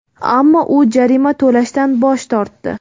Ammo u jarima to‘lashdan bosh tortdi.